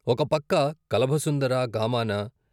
ఒకపక్క "కలభ సుందరా గామానా...